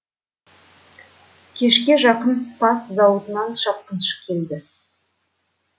кешке жақын спасс зауытынан шапқыншы келді